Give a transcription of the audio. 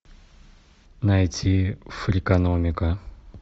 найти фрикономика